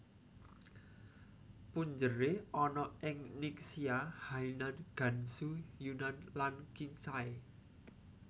Punjere ana ing Ningxia Hainan Gansu Yunnan lan Qinghai